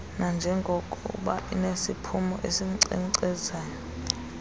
nanjengokuba inesiphumo esikunkcenkcezayo